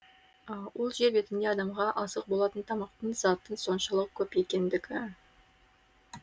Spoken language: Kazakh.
ол жер бетінде адамға азық болатын тамақтық заттың соншалық көп екендігі